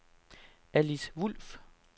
Alice Wulff